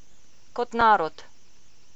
Kot narod.